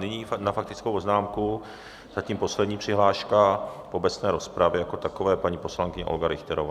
Nyní na faktickou poznámku zatím poslední přihláška v obecné rozpravě jako takové, paní poslankyně Olga Richterová.